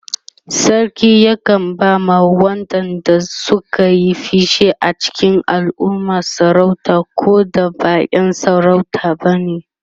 sarki yakan ba ma waƴanda Suka Yi fice a cikin alumma sarauta Koda ba ƴan sarauta bane